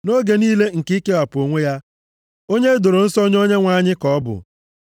Nʼoge niile nke ikewapụ onwe ya, onye e doro nsọ nye Onyenwe anyị ka ọ bụ.